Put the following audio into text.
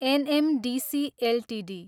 NMDC Ltd